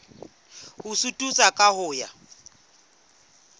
ho suthisa ka ho ya